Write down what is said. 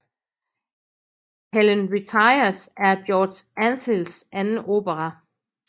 Helen Retires er George Antheils anden opera